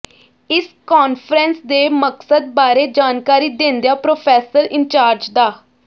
ਇਸ ਕਾਨਫਰੰਸ ਦੇ ਮਕਸਦ ਬਾਰੇ ਜਾਣਕਾਰੀ ਦਿੰਦਿਆਂ ਪ੍ਰਰੋਫੈਸਰ ਇੰਚਾਰਜ ਡਾ